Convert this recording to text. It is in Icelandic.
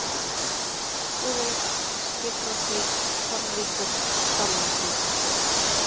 Búðavík, Skipbrotsvík, Torfvíkur, Skálanesvík